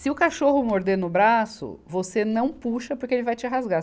Se o cachorro morder no braço, você não puxa porque ele vai te rasgar.